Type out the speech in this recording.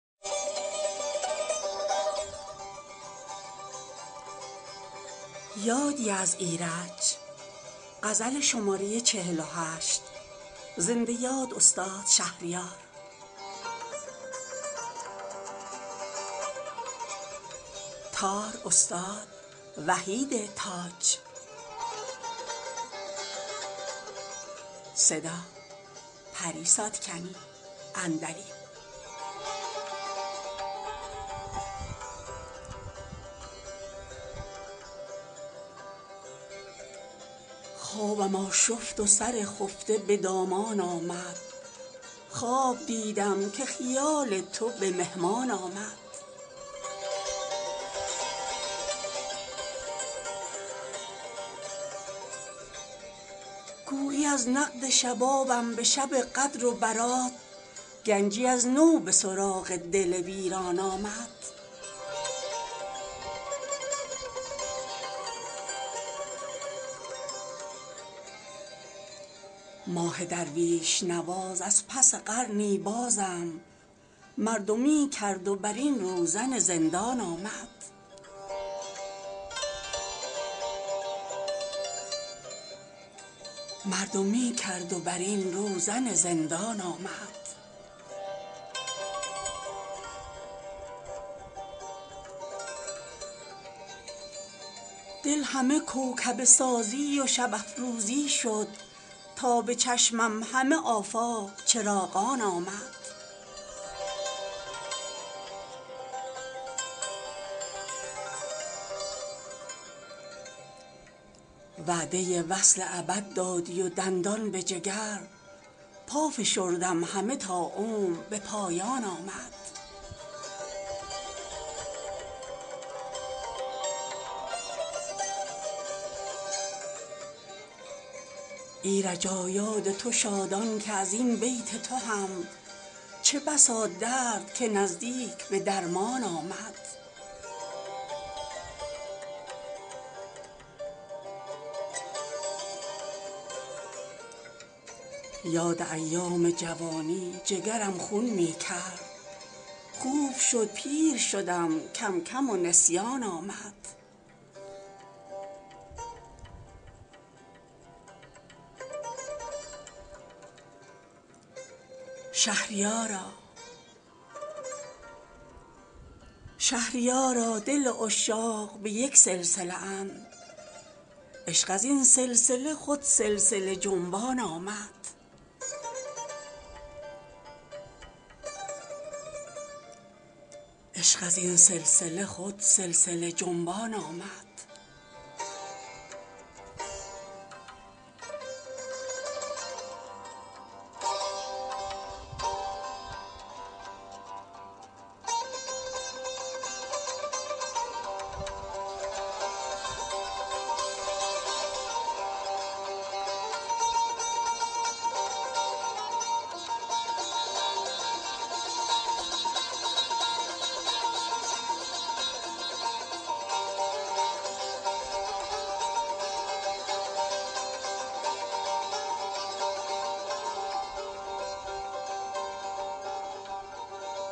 خوابم آشفت و سر خفته به دامان آمد خواب دیدم که خیال تو به مهمان آمد گویی از نقد شبابم به شب قدر و برات گنجی از نو به سراغ دل ویران آمد ماه درویش نواز از پس قرنی بازم مردمی کرد و بر این روزن زندان آمد دل همه کوکبه سازی و شب افروزی شد تا به چشمم همه آفاق چراغان آمد دل بریان نگر و سفره احسان خدا کاینچنین سرزده مهمان به سر خوان آمد وعده وصل ابد دادی و دندان به جگر پا فشردم همه تا عمر به پایان آمد با من این نسیه که همراه به نسیانم بود هنری شد که به نقد آفت حرمان آمد بی خیال سر و سامان که چه بسیار مرا با خیالی سر شوریده به سامان آمد ایرجا یاد تو شادان که از این بیت تو هم چه بسا درد که نزدیک به درمان آمد یاد ایام جوانی جگرم خون می کرد خوب شد پیر شدم کم کم و نسیان آمد شهریارا دل عشاق به یک سلسله اند عشق از این سلسله خود سلسله جنبان آمد